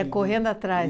Ia correndo atrás.